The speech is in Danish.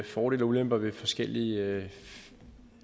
fordele og ulemper ved forskellige